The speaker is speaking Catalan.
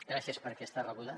gràcies per aquesta rebuda